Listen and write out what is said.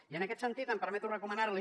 i en aquest sentit em permeto recomanar li